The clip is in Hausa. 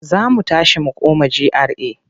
Za mu tashi mu koma GRA.